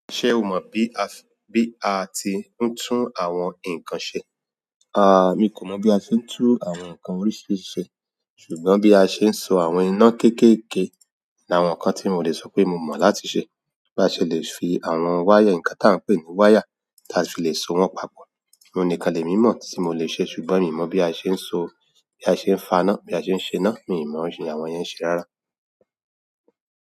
Ǹjẹ́ o mo bí a, bí a ti ń tún àwọn ǹkan ṣe. A, èmi kò mo bí a ṣe ń tún àwọn ǹkan oríṣiríṣi ṣe, ṣùgbọ́n bí a ṣe ń so àwọn iná kékèké ni àwọn ǹkan tí mo lè sope mo mo láti ṣe ba ṣe lè fi àwọn wáyà, nǹkan tí a ń pè ní wáyà, tí a fi lè so wọ́n papọ̀. Oun ní kan lè mímọ́ tí mò lè ṣe ṣùgbọ́n mi ò mọ̀ bí a ṣe ń so, bí a ṣe ń faná, bí a ṣe ń ṣe iná, mi ò mọ̀ ṣé àwọn yẹn ṣe rárá.